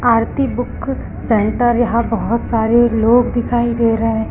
आरती book centre यहां बहोत सारे लोग दिखाई दे रहें--